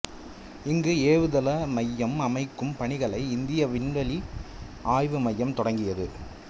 இங்கு ஏவுதள மையம் அமைக்கும் பணிகளை இந்திய விண்வெளி ஆய்வு மையம் தொடங்கியது